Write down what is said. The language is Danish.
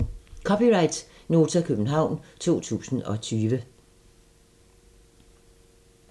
(c) Nota, København 2020